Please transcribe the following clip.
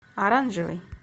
оранжевый